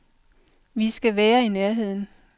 Vi skal være i nærheden.